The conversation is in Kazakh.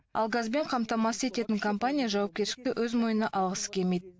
ал газбен қамтамасыз ететін компания жауапкершілікті өз мойнына алғысы келмейді